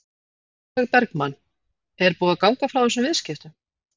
Sólveig Bergmann: Er búið að ganga frá þessum viðskiptum?